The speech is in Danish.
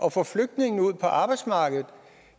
at få flygtningene ud på arbejdsmarkedet